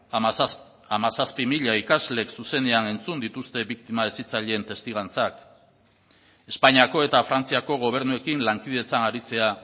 hamazazpi mila ikaslek zuzenean entzun dituzte biktima hezitzaileen testigantzak espainiako eta frantziako gobernuekin lankidetzan aritzea